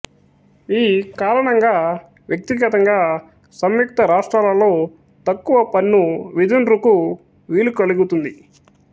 ఈ కారణంగా వ్యక్తిగతంగా సంయుక్త రాష్ట్రాలలో తక్కువ పన్ను విధింరుకు వీలు కలుగితుంది